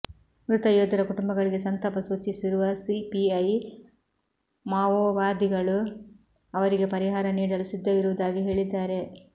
ಮೃತ ಯೋಧರ ಕುಟುಂಬಗಳಿಗೆ ಸಂತಾಪ ಸೂಚಿಸಿರುವ ಸಿಪಿಐ ಮಾವೋವಾದಿಗಳು ಅವರಿಗೆ ಪರಿಹಾರ ನೀಡಲು ಸಿದ್ಧವಿರುವುದಾಗಿ ಹೇಳಿದ್ದಾರೆ